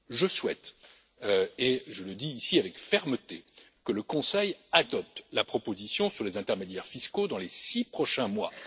Je souhaite, et je le dis ici avec fermeté, que le Conseil adopte la proposition sur les intermédiaires fiscaux dans les six prochains mois.